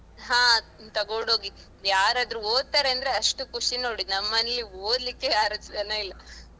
ಅಹ್ ತಗೊಂಡು ಹೋಗಿ ಯಾರಾದ್ರೂ ಓದ್ತಾರೆ ಅಂದ್ರೆ ಅಷ್ಟು ಖುಷಿ ನೋಡಿ ನಮ್ಮನೆಲ್ಲಿ ಓದ್ಲಿಕ್ಕೆ ಯಾರು ಜನ ಇಲ್ಲ.